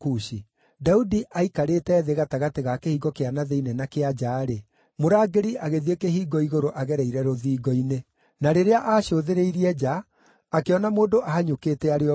Daudi aaikairĩte thĩ gatagatĩ ga kĩhingo kĩa na thĩinĩ na kĩa nja-rĩ, mũrangĩri agĩthiĩ kĩhingo-igũrũ agereire rũthingo-inĩ. Na rĩrĩa aacũthĩrĩirie nja, akĩona mũndũ ahanyũkĩte arĩ o wiki.